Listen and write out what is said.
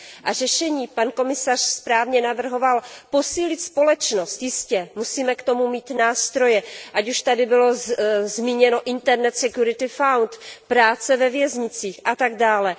A řešení, pan komisař správně navrhoval posílit společnost, jistě, musíme k tomu mít nástroje, ať už tady bylo zmíněno Internal security fund, práce ve věznicích a tak dále.